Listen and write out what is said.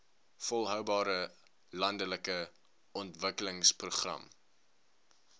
volhoubare landelike ontwikkelingsprogram